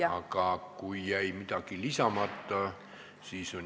Aga kui teil jäi midagi lisamata, siis pole midagi.